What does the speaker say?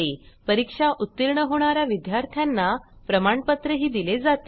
परीक्षा उत्तीर्ण होणा या विद्यार्थ्यांना प्रमाणपत्रही दिले जाते